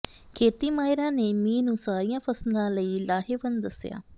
ਖੇਤੀ ਮਾਹਿਰਾਂ ਨੇ ਮੀਂਹ ਨੂੰ ਸਾਰੀਆਂ ਫਸਲਾਂ ਲਈ ਲਾਹੇਵੰਦ ਦੱਸਿਆ